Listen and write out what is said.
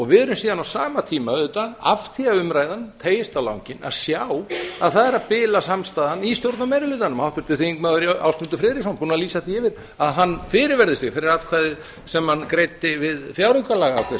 við erum síðan á sama tíma auðvitað af því að umræðan teygist á langinn að sjá að samstaðan í stjórnarmeirihlutanum er að bila háttvirtur þingmaður ásmundur friðriksson er búinn að lýsa því yfir að hann fyrirverði sig fyrir atkvæðið sem hann greiddi við fjáraukalagaafgreiðsluna það